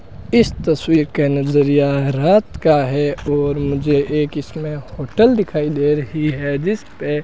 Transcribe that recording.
इस तस्वीर के नजरिया है रात का है और मुझे एक इसमें होटल दिखाई दे रही है जिसपे --